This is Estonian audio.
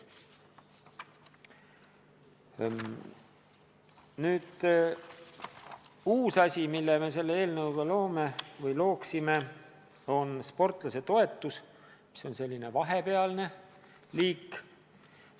Nüüd, uus asi, mille me selle eelnõu kohaselt looksime, on sportlasetoetus, mis on selline vahepealne liik.